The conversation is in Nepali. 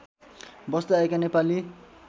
बस्दै आएका नेपाली